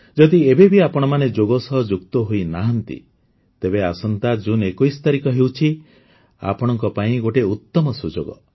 ଯଦି ଏବେ ବି ଆପଣମାନେ ଯୋଗ ସହ ଯୁକ୍ତ ହୋଇନାହାନ୍ତି ତେବେ ଆସନ୍ତା ଜୁନ୍ ୨୧ ତାରିଖ ହେଉଛି ଆପଣଙ୍କ ପାଇଁ ଗୋଟିଏ ଉତ୍ତମ ସୁଯୋଗ